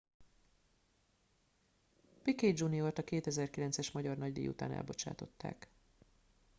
piquet jr.-t a 2009-es magyar nagydíj után elbocsátották